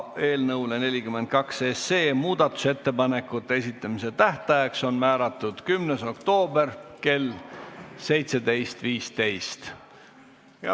Eelnõu 42 kohta muudatusettepanekute esitamise tähtajaks on määratud 10. oktoober kell 17.15.